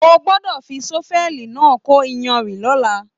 O gbọdọ fí sọ́fẹ̀lí náà kò iyanrìn l'ọla!